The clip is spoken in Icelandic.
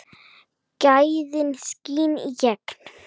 Gæðin skína í gegn.